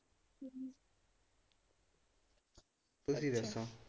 ਤੁਸੀ ਦੱਸੋ?